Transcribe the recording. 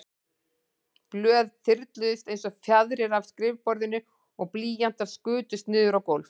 Blöð þyrluðust einsog fjaðrir af skrifborðinu og blýantar skutust niður á gólf.